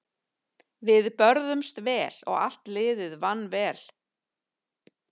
Við börðumst vel og allt liðið vann vel.